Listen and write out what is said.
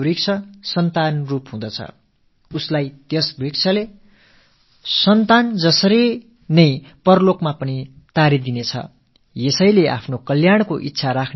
எவனொருவன் மரத்தை தானமாக அளிக்கிறானோ அவன் பெற்ற மக்கட்செல்வத்தைப் போல பரலோகத்தில் அவனை கரை சேர்க்க அந்த மரம் உதவியாக இருக்கும்